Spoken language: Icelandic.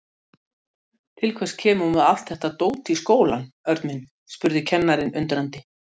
Til hvers kemur þú með allt þetta dót í skólann, Örn minn? spurði kennarinn undrandi.